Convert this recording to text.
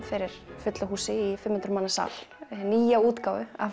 fyrir fullu húsi í fimm hundruð manna sal nýja útgáfu af